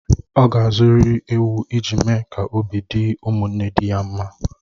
Ọ ga-azụrịrị ewu ị ji mee ka obi dị ụmụnne di ya mma